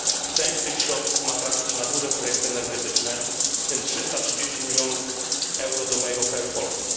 Część tych środków ma trafić na duże projekty energetyczne, w tym 330 milionów euro do mojego kraju Polski.